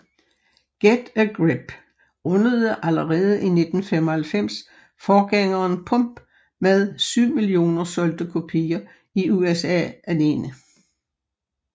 Get a Grip rundede allerede i 1995 forgængeren Pump med 7 millioner solgte kopier i USA alene